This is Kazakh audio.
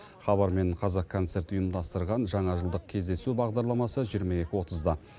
хабар мен қазақ концерт ұйымдастырған жаңа жылдық кездесу бағдарламасы жиырма екі отызда